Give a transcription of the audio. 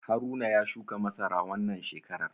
Haruna ya shuka masara wannan shekarar.